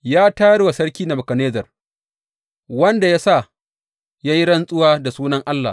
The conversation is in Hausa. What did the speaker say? Ya tayar wa Sarki Nebukadnezzar, wanda ya sa ya yi rantsuwa da sunan Allah.